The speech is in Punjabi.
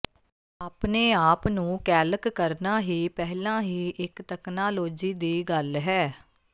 ਆਪਣੇ ਆਪ ਨੂੰ ਕੈਲਕ ਕਰਨਾ ਹੀ ਪਹਿਲਾਂ ਹੀ ਇਕ ਤਕਨਾਲੋਜੀ ਦੀ ਗੱਲ ਹੈ